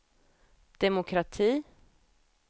demokrati